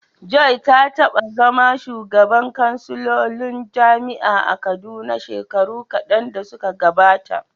Joy ta taba zama shugabar kansilolin jami’ar a Kaduna shekaru kadan da suka gabata.